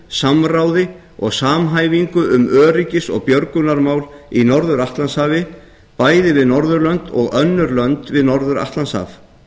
samráði og samhæfingu um öryggis og björgunarmál á norður atlantshafi bæði við norðurlönd og önnur lönd við norður atlantshaf